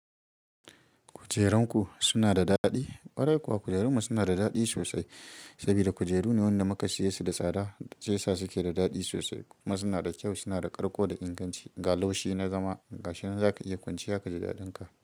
Kujerunku suna da daɗi? Ƙwarai kuwa kujerunmu suna da daɗi sosai saboda kujeru ne waɗanda muka siye su da tsada shiya sa suke da daɗi sosai. Kuma suna da kyau, suna da ƙarko da inganci. Ga laushi na zama, ga shi nan zaka iya kwanciya kaji daɗinka.